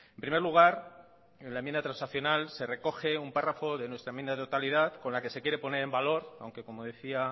primer lugar la enmienda transaccional se recoge un párrafo de nuestra enmienda de totalidad con la que se quiere poner en valor aunque como decía